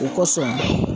O kɔsɔn